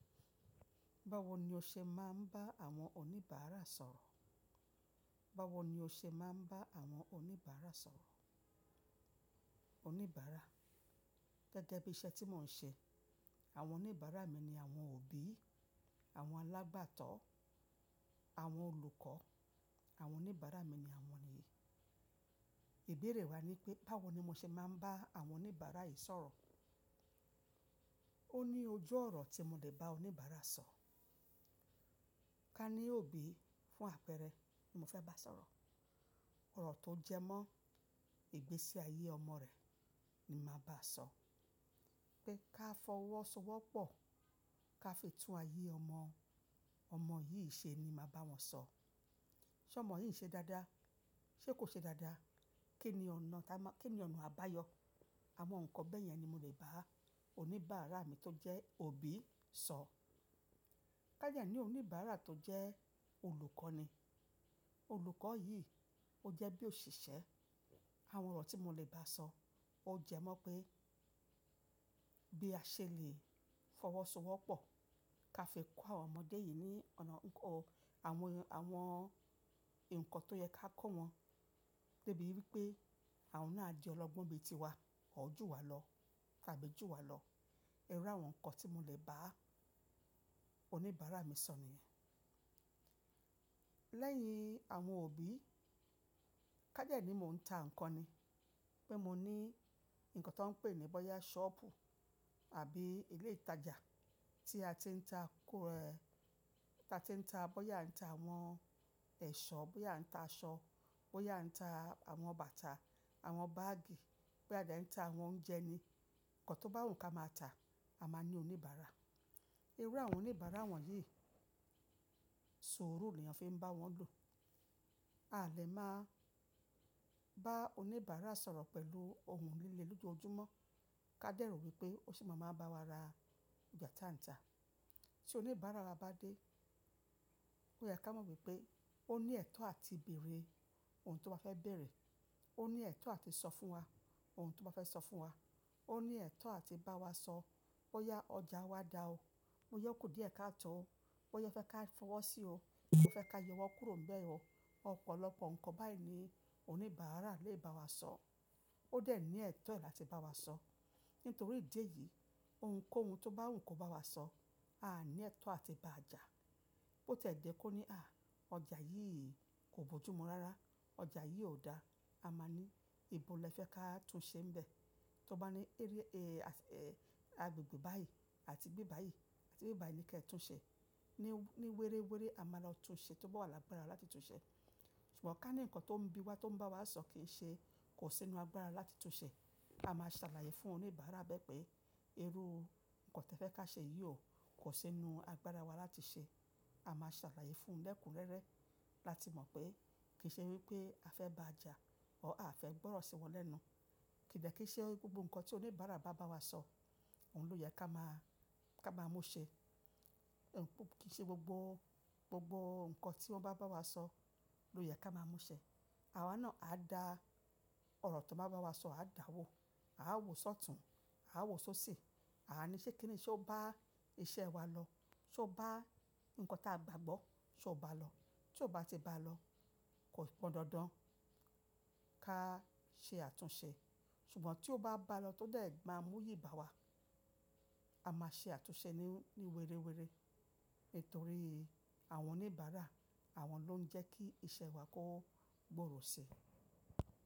Báwo ni o ṣe máa ń bá àwọn oníbàárà sọ̀rọ̀? Báwo ni o ṣe máa ń bá àwọn oníbàárà sọ̀rọ̀? Oníbàárà, gẹ́gẹ́ bí iṣẹ́ tí mò ń ṣe, àwọn oníbàárà mi ni àwọn òbí, àwọn alágbàtọ́, àwọn olùkọ́. Àwọn oníbàárà mi ni àwọn yìí. Ìbéèrè wa ni pé báwo ni mo ṣe máa ń bá àwọn oníbàárà yìí sọ̀rọ̀? Ó ní ojú ọ̀rọ̀ tí mo lè bá oníbàárà sọ̀. Ká ní òbí fún àpẹẹrẹ tí mo fẹ́ bá sọ̀rọ̀. Ọ̀rọ̀ tó jẹmọ́ ìgbésí ayé ọmọ rẹ̀ ni màá báa sọ. Pé ká fọwọ́ sọ wọ́pọ̀ ká fi tún ayé ọmọ, ọmọ yìí ṣe ni màá bá wọn sọ. Ṣé ọmọ yìí ń ṣe dáadáa? Ṣé kò ṣe dáadáa? Kí ni ọ̀nà tá ń má-- kí ni ọ̀nà àbáyọ? Àwọn ǹkan bẹ́ẹ̀ yẹn ni mo lè bá oníbàárà mi tó jẹ́ òbí sọ. Ká jẹ́ ẹ ní oníbàárà tó jẹ́ olùkọ́ ni. Olùkọ́ yìí ó jẹ́ bí òṣìṣẹ́. Àwọn ọ̀rọ̀ tí mo lè bá a sọ ó jẹmọ́ pé bí a ṣe lè fọwọ́ sọ wọ́pọ̀ ká fi kọ́ àwọn ọmọ dé yìí ní ọ̀nà ǹkan-- àwọn, àwọn ǹkan tó yẹ ká kọ́ wọn. Dé bíi wípé àwọn náà jẹ́ ọlọ́gbọ́n ibi tiwa, or ọ́ jú wa lọ tàbí jú wa lọ. Irú àwọn ǹkan tí mo lè bá oníbàárà mi sọ ni. Lẹ́yìn àwọn òbí, ká dẹ́ ẹ ní mò ń ta ǹkan ni. Pé mo ní ǹkan tó ń pè ní báyà ṣọ́ọ̀bù àbí ilé ìtajà tí a ti ń ta kọ̀ rẹ. Tí a ti ń ta, bóyá ń ta àwọn ẹ̀ṣọ́, báyà ń ta aṣọ, báyà ń ta àwọn bàtà, àwọn báàgì, bóyá a dẹ̀ ń ta àwọn oúnjẹ ni. Ǹkan tó bá wù kó máa ta, a máa ní oníbàárà. Irú àwọn oníbàárà wọ̀nyí sùúrù ni èyàn fi ń bá wọn lò. A lè máa bá oníbàárà sọ̀rọ̀ pẹ̀lú ohùn líle lójoojúmọ́ ká dẹ̀ rò wípé ó sì máa ma bá wa ra ọjà ta ń ta. Tí oníbàárà wa bá dé, ó yẹ ká mọ̀ wípé ó ní ẹ̀tọ́ àti bèèrè ohun tó bá fẹ́ bèèrè. Ó ní ẹ̀tọ́ àti sọ fún wa ohun tó bá fẹ́ sọ fún wa. Ó ní ẹ̀tọ́ àti bá wa sọ bóyá ọjà wa dá o, bóyá ó ku diẹ ká tọ̀ ọ́, bóyá ó fẹ́ ká fọwọ́ sí ọ, bóyá ó fẹ́ ká yẹ wọ́n kúrò ń bẹ o. Ọ̀pọ̀lọpọ̀ ǹkan báyìí ni oníbàárà lè bá wa sọ. Ó dẹ̀ ní ẹ̀tọ́ rẹ̀ láti bá wa sọ. Nítorí ìdí èyí, ohunkóhun tó bá wù kó bá wa sọ, a ní ẹ̀tọ́ àti bá a já. Bó tẹ́ jẹ kó ní, "à, ọjà yìí kò bójú mu rárá, ọjà yìí ò dá," a máa ní, "ibo lẹ fẹ́ ká tún ṣe ń bẹ?" Tí ó bá ní, "ẹ́ rí, eh, as-- eh, agbègbè báyìí àti gbé báyìí, àti gbé báyìí ni kí ẹ tún ṣe." Ní, ní wéréwéré, a máa lọ tún ṣe tó bá wà lágbára láti tún ṣe. Ṣùgbọ́n ká ní ǹkan tó ń bí wa, tó ń bá wa sọ kì í ṣe kò sí inú agbára láti tún ṣe, a máa ṣàlàyé fún oníbàárà bẹ́ pé irú ǹkan tí ẹ fẹ́ ká ṣe yìí o kò sí inú agbára wa láti ṣe. A máa ṣàlàyé fún lẹ́kùn rẹ́rẹ́ láti mọ̀ pé kì í ṣe wípé a fẹ́ bá a já or á fẹ́ gbọ́rọ̀ sí wọn lẹ́nu. Kì í dẹ́ kí i ṣe gbogbo ǹkan tí oníbàárà bá bá wa sọ òun ló yẹ ká máa, ká máa mú ṣẹ. Ǹ kò kì í ṣe gbogbo, gbogbo ǹkan tí wọ́n bá bá wa sọ ló yẹ ká máa mú ṣẹ. Àwa náà á da ọ̀rọ̀ tó bá bá wa sọ á dá wo. A á wòó sọ̀tún, a á wòó sóṣì. A á ní ṣé kí ni, ṣé ó bá iṣẹ́ wa lọ? Ṣé ó bá ǹkan tí a gbàgbọ́, ṣé ó bá lọ? Tí ó bá ti bá lọ, kò pọn dandan ká ṣe àtúnṣe. Ṣùgbọ́n tí ó bá bá lọ tó dẹ̀ gba múyì bá wa, a máa ṣe àtúnṣe ní, ní wéréwéré. Nítorí àwọn oníbàárà àwọn ló ń jẹ́ kí iṣẹ́ wa kó gbòòrò sí.